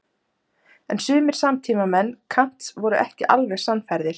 en sumir samtímamenn kants voru ekki alveg sannfærðir